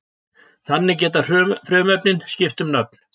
Þannig geta frumefnin skipt um nöfn.